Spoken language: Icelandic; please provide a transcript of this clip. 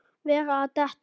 Vera að detta.